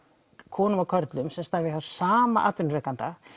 konum og körlum sérstaklega hjá sama atvinnurekanda